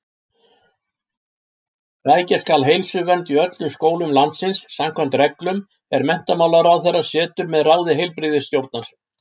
Rækja skal heilsuvernd í öllum skólum landsins samkvæmt reglum, er menntamálaráðherra setur með ráði heilbrigðisstjórnar.